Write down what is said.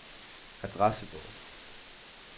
adressebog